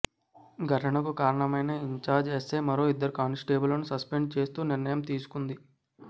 ఘటనకు కారణమైన incharge SI మరో ఇద్దరు కానిస్టేబుళ్లను సస్పెండ్ చేస్తూ నిర్ణయం తీసుకుంది